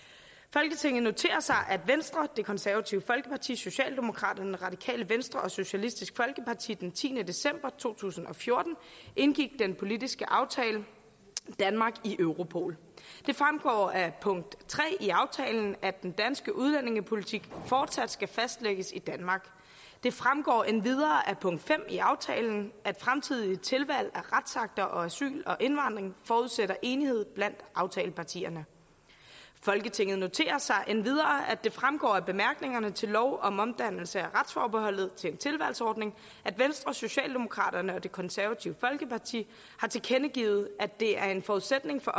folketinget noterer sig at venstre det konservative folkeparti socialdemokraterne radikale venstre og socialistisk folkeparti den tiende december to tusind og fjorten indgik den politiske aftale om danmark i europol det fremgår af punkt tre i aftalen at den danske udlændingepolitik fortsat skal fastlægges i danmark det fremgår endvidere af punkt fem i aftalen at fremtidige tilvalg af retsakter om asyl og indvandring forudsætter enighed blandt aftalepartierne folketinget noterer sig endvidere at det fremgår af bemærkningerne til lov om omdannelse af retsforbeholdet til en tilvalgsordning at venstre socialdemokraterne og det konservative folkeparti har tilkendegivet at det er en forudsætning for